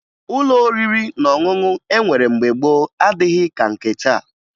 Ụlọ oriri na ọṅụṅụ e nwere mgbe gboo adịghị ka nke taa